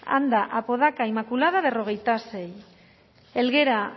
anda apodaca inmaculada cuarenta y seis helguera